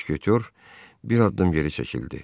Müşketor bir addım geri çəkildi.